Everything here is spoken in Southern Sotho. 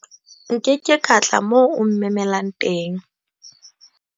nke ke ka tla moo o mmemelang teng